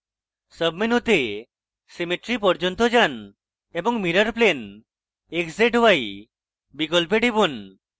সাবমেনুতে symmetry পর্যন্ত যান এবং mirrorplane x z y বিকল্পে টিপুন